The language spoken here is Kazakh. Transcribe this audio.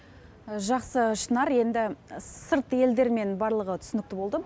жақсы шынар енді сырт елдермен барлығы түсінікті болды